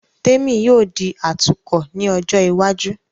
Témì yóò di atukọ̀ ní ọjọ́ iwájú